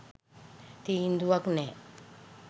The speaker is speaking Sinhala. තීන්දුවක් නෑ.